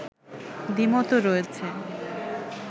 দ্বিমতও রয়েছে